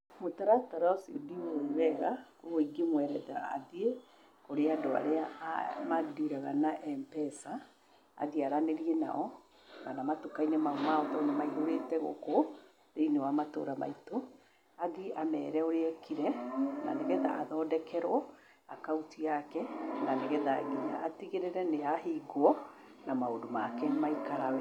Mũtaratara ũcio ndĩũwĩ wega, ũguo ingĩmwerethera athiĩ kũrĩ andũ arĩa mandiraga na M-Pesa, athiĩ aranĩrie nao, kana matuka-inĩ mau ma o, tondũ maihũrĩte gũkũ thĩ-inĩ wa matũra maitũ, athiĩ amere ũrĩa ekire, na nĩgetha athondekerwo akaũnti yake, na nĩgetha atigĩrĩre nginya nĩ yahingwo, na maũndũ make nĩ maikara wega.